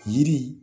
Yiri